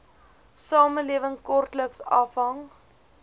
samelewing grootliks afhang